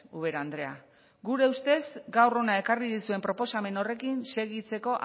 ubera andrea gure ustez gaur hona ekarri duzuen proposamen horrekin segitzeko